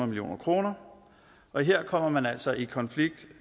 million kroner og her kommer man altså i konflikt